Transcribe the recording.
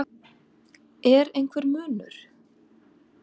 Er einhver munur?